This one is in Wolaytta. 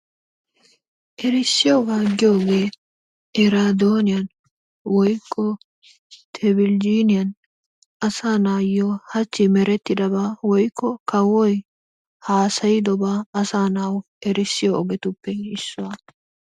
Erissiyoogaa giyooge eraadooniyan woykko tebeljiiniyan asaa naayo hachchi merettidaba woykko kawoy haasayidobaa asaa nawu erissiyo ogetuppe issuwa.